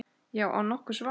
Já, án nokkurs vafa.